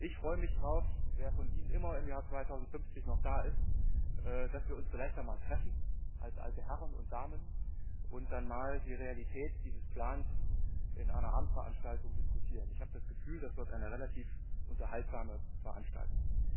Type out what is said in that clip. Ich freue mich darauf wer von Ihnen immer im Jahr 2050 noch da ist dass wir uns dann vielleicht einmal treffen, als alte Damen und Herren, und dann einmal die Realität dieses Plans in einer Abendveranstaltung diskutieren. Ich habe das Gefühl, das wird eine relativ unterhaltsame Veranstaltung.